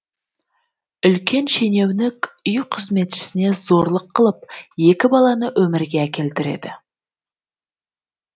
үлкен шенеунік үй қызметшісіне зорлық қылып екі баланы өмірге әкелдіреді